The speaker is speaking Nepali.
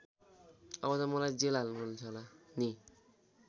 अब त मलाई जेल हाल्नुहुन्छ होला नि?